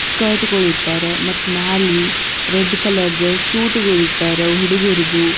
ಸ್ಕರ್ಟ್ಗೊಳ ಇಟ್ಟರ್ ಮತ್ತ್ ಮ್ಯಾಲಿ ರೆಡ್ ಕಲರ್ ದು ಸೂಟ್ಗಳು ಇಟ್ಟರ್ ಹುಡುಗರದು.